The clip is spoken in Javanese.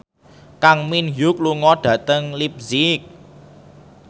Kang Min Hyuk lunga dhateng leipzig